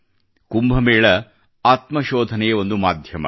ಕುಂಭ ಮೇಳವು ಆತ್ಮ ಶೋಧನೆಯ ಒಂದು ಮಾಧ್ಯಮವಾಗಿದೆ